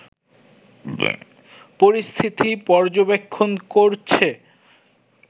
পরিস্থিতি পর্যবেক্ষণ করছে